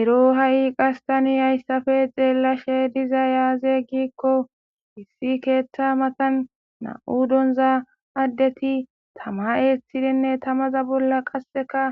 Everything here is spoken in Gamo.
Ero ha7i qastani hayssafe xeellashe diza yaaze gikko hissi keeththa matan na7u donza addeti tama eeththidinne tamaza bolla qasseka